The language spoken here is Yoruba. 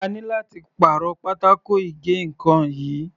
A ní láti pàrọ̀ pátákó ìgé ǹkan yìí.